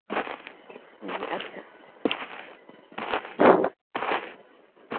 জি আচ্ছা.